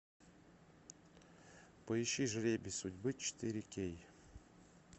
поищи жребий судьбы четыре кей